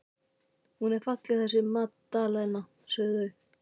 Hún er falleg þessi Magdalena, sögðu þau.